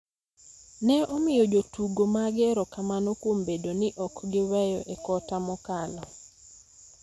ne omiyo jotugo mage erokamano kuom bedo ni ok giweyo e kota mokalo,